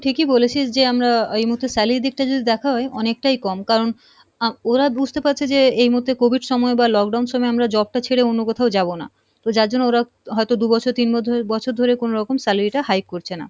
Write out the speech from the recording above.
ঠিকই বলেছিস যে আমরা এই মুহূর্তে salary দিক টা যদি দেখা হয় অনেকটাই কম কারণ আহ ওরা বুঝতে পারছে যে এই মুহূর্তে COVID সময়ে বা lockdown সময়ে আমরা job টা ছেড়ে অন্য কোথাও যাবো না, তো যার জন্য ওরা হয়তো দু বছর তিন বছর ধরে কোনোরকম salary টা high করছে না,